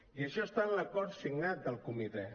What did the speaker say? i això està en l’acord signat del comitè